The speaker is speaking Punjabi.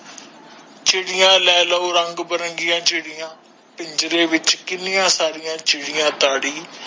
ਚਿੜੀਆਂ ਲੇਲੋ ਰੰਗ ਬਰਿੰਗਾ ਚਿੜੀਆਂ ਪਿੰਜਰੇ ਵਿੱਚ ਕਿੰਨੀਆਂ ਸਾਰੀ ਚਿੜੀਆਂ ਤਾੜੀ